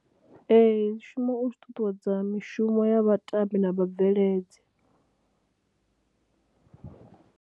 Ee, zwi shuma u ṱuṱuwedza mishumo ya vhatambi na vhabveledzi.